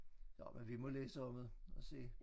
Nåh men vi må læse om det og se